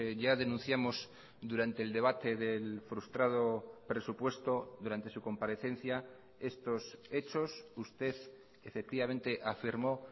ya denunciamos durante el debate del frustrado presupuesto durante su comparecencia estos hechos usted efectivamente afirmó